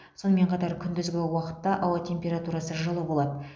сонымен қатар күндізгі уақытта ауа температурасы жылы болады